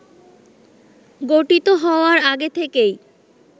গঠিত হওয়ার আগে থেকেই